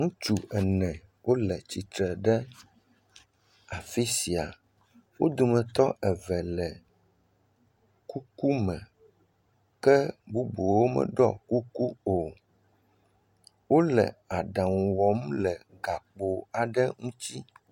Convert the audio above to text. Ŋutsu ene wole tsitre ɖe afi sia, wo dometɔ eve le kuku me, ke bubuwo meɖɔ kuku o, wole aɖaŋu wɔm le gakpo aɖe ŋuti.